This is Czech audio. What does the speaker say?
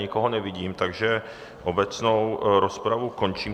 Nikoho nevidím, takže obecnou rozpravu končím.